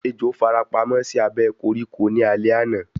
Ejò farapamọ́ sí abẹ́ koríko ní alé àná